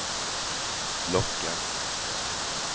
lockar